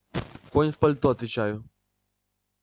конь в пальто отвечаю